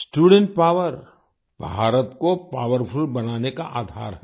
student power Bharat को powerful बनाने का आधार है